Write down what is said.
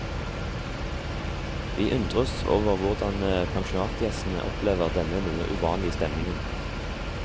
Vi undres over hvordan pensjonatgjestene opplever denne noe uvanlige stemningen.